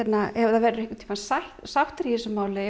ef það verða einhvern tímann sættir sættir í þessu máli